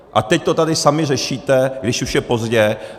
A teď to tady sami řešíte, když už je pozdě.